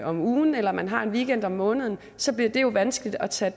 om ugen eller man har en weekend om måneden så bliver det jo vanskeligt at tage